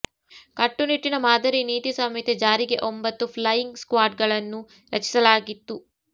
ಕಟ್ಟುನಿಟ್ಟಿನ ಮಾದರಿ ನೀತಿ ಸಂಹಿತೆ ಜಾರಿಗೆ ಒಂಬತ್ತು ಫ್ಲೈಯಿಂಗ್ ಸ್ಕ್ವಾಡ್ಗಳನ್ನು ರಚಿಸಲಾಗಿತ್ತು